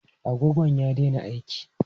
Agogon ya daina aiki.